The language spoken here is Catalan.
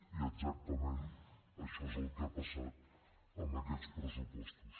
i exactament això és el que ha passat amb aquests pressupostos